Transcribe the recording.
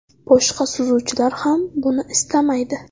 Boshqa suzuvchilar ham buni istamaydi.